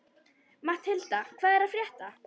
Matthilda, hvað er að frétta?